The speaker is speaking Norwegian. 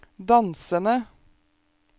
dansende